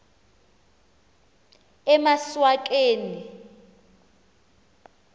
emaswakeni